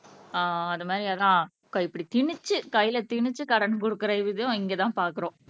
ஆஹ் அது மாரி அதான் இப்படி திணிச்சு கையில திணிச்சு கடன் குடுக்குற விதம் இங்கதான் பாக்குறோம்